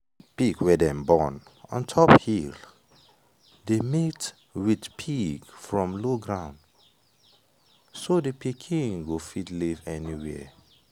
pig wey dem born ontop hill dey mate with pig from low ground so the pikin go fit live anywhere.